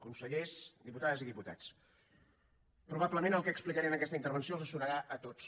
consellers diputades i diputats probablement el que explicaré en aquesta intervenció els sonarà a tots